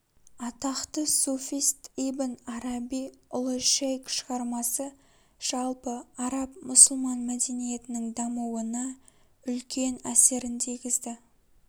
атақты суфист ибн араби ұлы шейк шығармасы жалпы араб-мұсылман мәдениетінің дамуына үлкен әсерін тигізді